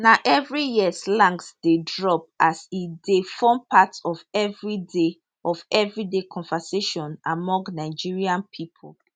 na evri year slangs dey drop as e dey form part of everyday of everyday conversation among nigerian pipo